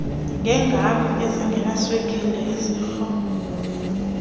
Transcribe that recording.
ngeegam ezingenaswekile izitro